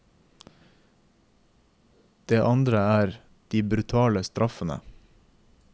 Det andre er de brutale straffene.